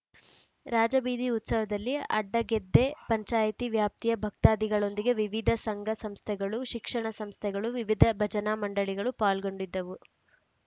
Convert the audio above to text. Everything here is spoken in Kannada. ರಾಜಬೀದಿ ಉತ್ಸವದಲ್ಲಿ ಅಡ್ಡಗೆದ್ದೆ ಪಂಚಾಯಿತಿ ವ್ಯಾಪ್ತಿಯ ಭಕ್ತಾದಿಗಳೊಂದಿಗೆ ವಿವಿಧ ಸಂಘ ಸಂಸ್ಥೆಗಳು ಶಿಕ್ಷಣ ಸಂಸ್ಥೆಗಳು ವಿವಿಧ ಭಜನಾ ಮಂಡಳಿಗಳು ಪಾಲ್ಗೊಂಡಿದ್ದವು